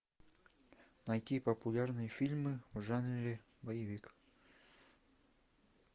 найти популярные фильмы в жанре боевик